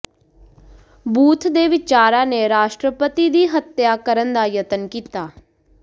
booth ਦੇ ਵਿਚਾਰਾਂ ਨੇ ਰਾਸ਼ਟਰਪਤੀ ਦੀ ਹੱਤਿਆ ਕਰਨ ਦਾ ਯਤਨ ਕੀਤਾ